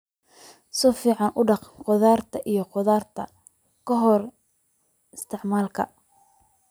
Si fiican u dhaq khudaarta iyo khudaarta ka hor isticmaalka.